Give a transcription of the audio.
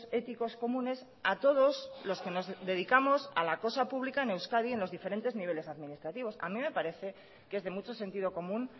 éticos comunes a todos los que nos dedicamos a la cosa pública en euskadi en los diferentes niveles administrativos a mí me parece que es de mucho sentido común